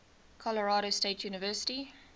colorado state university